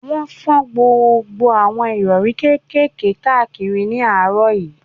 Wọ́n fọ́n gbogbo àwọn ìrọ̀rí kékèké káàkiri ní àárọ̀ yìí